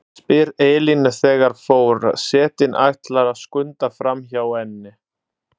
spyr Elín þegar for- setinn ætlar að skunda framhjá henni.